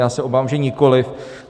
Já se obávám, že nikoliv.